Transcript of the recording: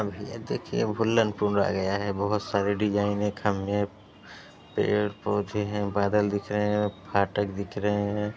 और भईया देखिए भुल्लनपुर आ गया है। बहुत सारे डिजाइन हैं। खंभे है पेड़ पौधे हैं बादल दिख रहे हैं फाटक दिख रहे हैं।